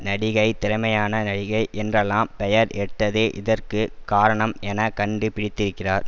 நடிகை திறமையான நடிகை என்றெல்லாம் பெயர் எட்டதே இதற்கு காரணம் என கண்டு பிடித்திருக்கிறார்